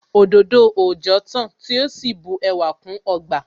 Òdòdó òòjọ́ tán tí ó sì bu ẹwà kún ọgbà